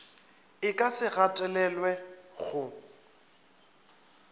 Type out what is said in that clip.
e ka se gatelelwe go